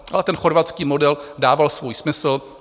Ale ten chorvatský model dával svůj smysl.